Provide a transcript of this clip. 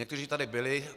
Někteří tady byli.